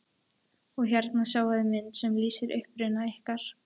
Og hérna sjáiði mynd sem lýsir uppruna ykkar.